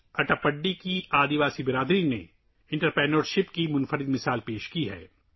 اٹاپاڈی کی قبائلی برادری نے خواتین کی قیادت میں کاروبار کی ایک شاندار مثال قائم کی ہے